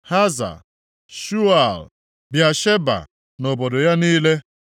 Haza Shual, Bịasheba na obodo ya niile,